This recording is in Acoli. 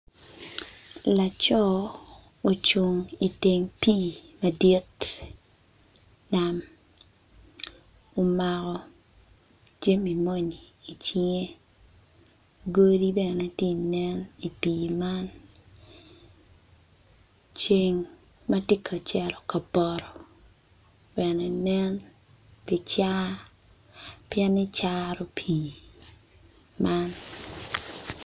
Laco ocung iteng pii madit nam omako jami moni icinge godi bene ti nen i pii man ceng ma tye ka ceto ka poto bene nen pi car pieni caro pii man.